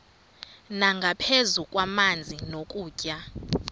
nangaphezu kwamanzi nokutya